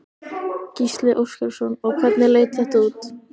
Gísli Óskarsson: Og hvernig leit þetta út?